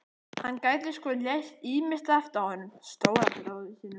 Hann gæti sko lært ýmislegt af honum stóra bróður sínum